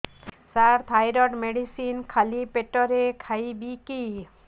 ସାର thyroid medicine ଖାଲି ପେଟରେ ଖାଇବି କି